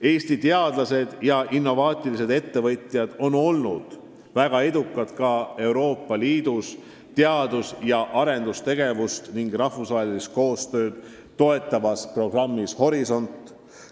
Eesti teadlased ja innovaatilised ettevõtjad on olnud väga edukad Euroopa Liidu teadus- ja arendustegevust ning rahvusvahelist koostööd toetavas programmis Horisont.